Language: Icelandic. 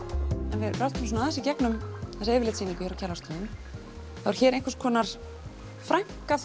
ef við röltum aðeins í gegnum þessa yfirlitssýningu hér á Kjarvalsstöðum þá er hér einhvers konar frænka